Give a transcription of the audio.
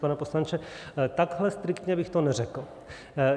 Pane poslanče, takhle striktně bych to neřekl.